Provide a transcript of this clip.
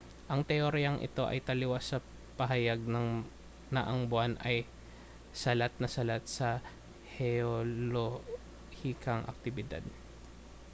ang teoryang ito ay taliwas sa pahayag na ang buwan ay salat na salat sa heolohikang aktibidad